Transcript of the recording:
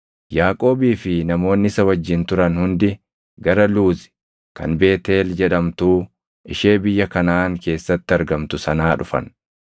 Yaaqoobii fi namoonni isa wajjin turan hundi gara Luuzi kan Beetʼeel jedhamtuu ishee biyya Kanaʼaan keessatti argamtu sanaa dhufan.